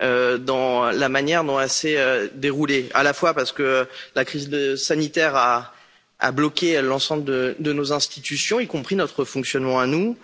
dans la manière dont elles se sont déroulées, à la fois parce que la crise sanitaire a bloqué l'ensemble de de nos institutions, y compris notre fonctionnement à nous.